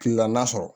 Kilela n'a sɔrɔ